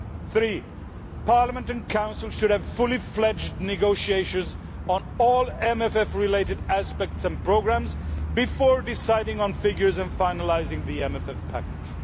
Three, Parliament and Council should have fully fledged negotiations on all MFF related aspects and programmes before deciding on figures and finalising the MFF package.